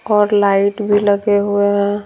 और लाइट भी लगे हुए हैं।